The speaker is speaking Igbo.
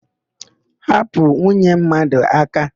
Hapụ nwunye mmadụ aka!